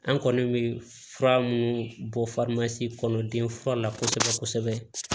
An kɔni bɛ fura minnu bɔ kɔnɔ denfura la kosɛbɛ kosɛbɛ